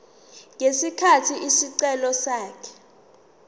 ngesikhathi isicelo sakhe